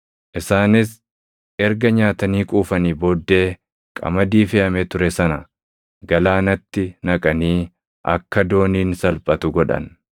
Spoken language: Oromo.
Isaanis erga nyaatanii quufanii booddee qamadii feʼamee ture sana galaanatti naqanii akka dooniin salphatu godhan.